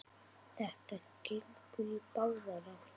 Þetta gengur í báðar áttir.